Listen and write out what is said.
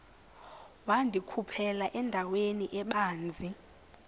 wandikhuphela endaweni ebanzi